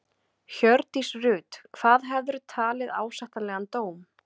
Hjördís Rut: Hvað hefðirðu talið ásættanlegan dóm?